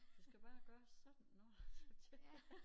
Du skal bare gøre sådan nåh så tjekker jeg